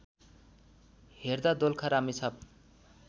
हेर्दा दोलखा रामेछाप